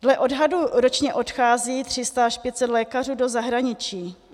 Dle odhadu ročně odchází 300 až 500 lékařů do zahraničí.